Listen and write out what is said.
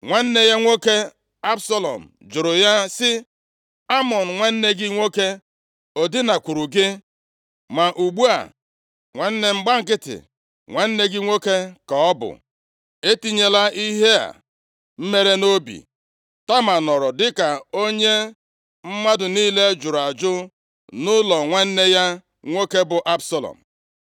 Nwanne ya nwoke, Absalọm jụrụ ya sị, “Amnọn, nwanne gị nwoke, o dinakwuuru gị? Ma ugbu a, nwanne m, gba nkịtị, nwanne gị nwoke ka ọ bụ. Etinyela ihe a mere nʼobi.” Tama nọrọ dịka onye mmadụ niile jụrụ ajụ nʼụlọ nwanne ya nwoke, bụ Absalọm.